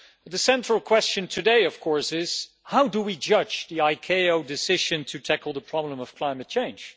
The central question today is of course how do we judge the ICAO decision to tackle the problem of climate change?